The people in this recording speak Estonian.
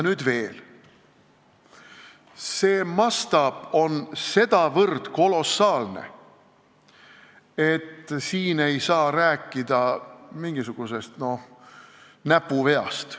Toimunu mastaap on nii kolossaalne, et me ei saa rääkida mingisugusest näpuveast.